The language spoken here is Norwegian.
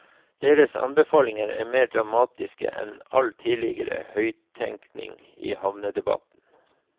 Deres anbefalinger er mer dramatiske enn all tidligere høyttenkning i havnedebatten.